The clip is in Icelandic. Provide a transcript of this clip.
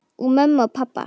Og mömmu og pabba.